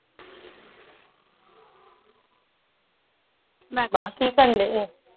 ਕਿ ਕਰਨ ਢਏ ਜੇ